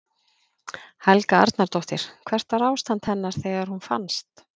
Helga Arnardóttir: Hvernig var ástand hennar þegar hún fannst?